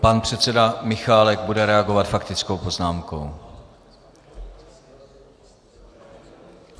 Pan předseda Michálek bude reagovat faktickou poznámkou.